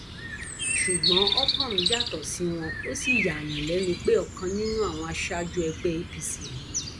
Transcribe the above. ṣùgbọn otorm yàtọ sí wọn ò sì yààyàn lẹnu pé ọkan nínú àwọn aṣáájú ẹgbẹ apc ni